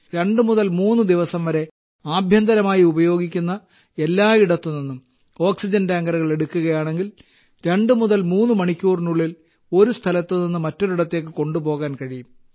രണ്ട് മുതൽ മൂന്ന് ദിവസം വരെ ആഭ്യന്തരമായി ഉപയോഗിക്കുന്ന എല്ലായിടത്തുനിന്നും ഓക്സിജൻ ടാങ്കറുകൾ എടുക്കുകയാണെങ്കിൽ രണ്ട് മുതൽ മൂന്നു മണിക്കൂറിനുള്ളിൽ ഒരു സ്ഥലത്ത് നിന്ന് മറ്റൊരിടത്തേക്ക് കൊണ്ടുപോകാൻ കഴിയും